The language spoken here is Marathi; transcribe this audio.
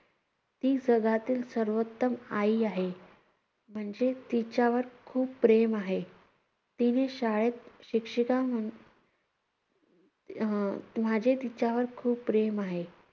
ती जगातील सर्वोत्तम आई आहे. म्हणजे तिच्यावर खूप प्रेम आहे. तिने शाळेत शिक्षिका म्हणून~ आह माझे तिच्यावर खूप प्रेम आहे.